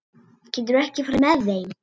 Geturðu ekki farið með þeim?